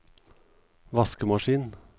vaskemaskin